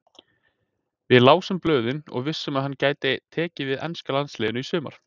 Við lásum blöðin og vissum að hann gæti tekið við enska landsliðinu í sumar.